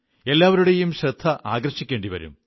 എല്ലാവരുടെയും ശ്രദ്ധ ആകർഷിക്കേണ്ടി വരും